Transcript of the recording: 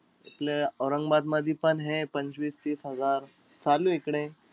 आपलं औरंगाबादमधी पण हे पंचवीस-तीस हजार चालूय इकडे.